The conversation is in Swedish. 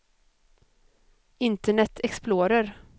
internet explorer